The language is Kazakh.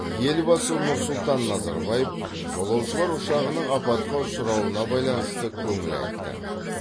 елбасы нұрсұлтан назарбаев жолаушылар ұшағының апатқа ұшырауына байланысты көңіл айтты